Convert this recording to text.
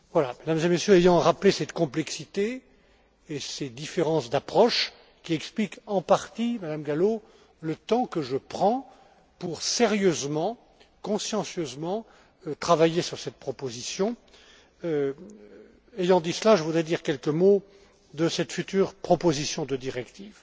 Mesdames et Messieurs, ayant rappelé cette complexité et ces différences d'approche qui expliquent en partie, Madame Gallo, le temps que je prends pour sérieusement, consciencieusement, travailler sur cette proposition, je voudrais dire quelques mots de cette future proposition de directive.